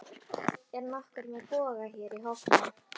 Er nokkur með boga hér í hópnum?